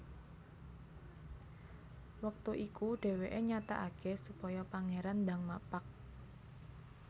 Wektu iku dhèwèké nyatakaké supaya Pangéran ndang mapag